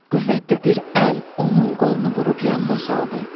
Qüvvətli bir əl onun qolunu vurub yanına saldı.